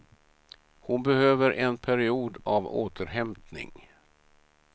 Hon behöver en period av återhämtning.